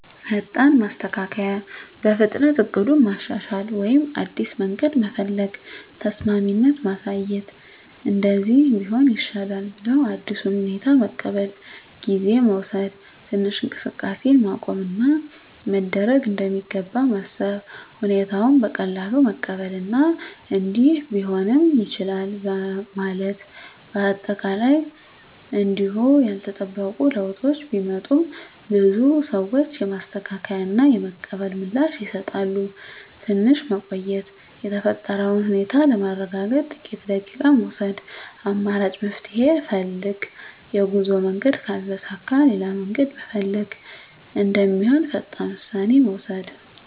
ፈጣን ማስተካከያ – በፍጥነት እቅዱን ማሻሻል ወይም አዲስ መንገድ መፈለግ። ተስማሚነት ማሳየት – “እንደዚህ ቢሆን ይሻላል” ብለው አዲሱን ሁኔታ መቀበል። ጊዜ መውሰድ – ትንሽ እንቅስቃሴን ማቆም እና ምን መደረግ እንደሚገባ ማሰብ። ሁኔታውን በቀላሉ መቀበል እና “እንዲህ ቢሆንም ይቻላል” ማለት። አጠቃላይ እንዲሁ ያልተጠበቁ ለውጦች ቢመጡም፣ ብዙ ሰዎች የማስተካከያ እና የመቀበል ምላሽ ይሰጣሉ። ትንሽ መቆየት – የተፈጠረውን ሁኔታ ለማረጋገጥ ጥቂት ደቂቃ መውሰድ። አማራጭ መፍትሄ ፈልግ – የጉዞ መንገድ ካልተሳካ ሌላ መንገድ መፈለግ እንደሚሆን ፈጣን ውሳኔ መውሰድ።